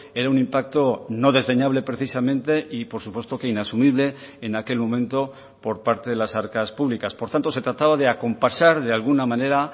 era un impacto no desdeñable precisamente y por supuesto que inasumible en aquel momento por parte de las arcas públicas por tanto se trataba de acompasar de alguna manera